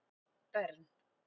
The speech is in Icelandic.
Bern